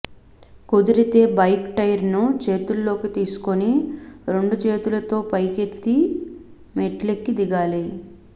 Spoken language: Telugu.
కుదిరితే బైక్ టైరును చేతుల్లోకి తీసుకుని రెండుచేతులతో పైకెత్తి మెట్లెక్కి దిగాలి